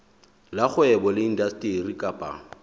la kgwebo le indasteri kapa